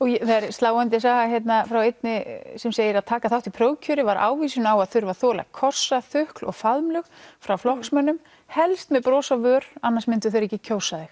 sláandi saga hérna frá einni sem segir að taka þátt í prófkjöri var ávísun á að þurfa að þola kossa þukl og faðmlög frá flokksmönnum helst með bros á vör annars myndu þeir ekki kjósa þig